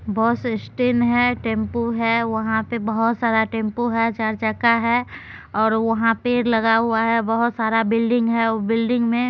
बस stand है tempo है वहां पे बहुत सारा टेंपू है चार चक्का है और वहां पेड़ लगा हुआ है बोहोत सारा बिल्डिंग है। उ बिल्डिंग मे --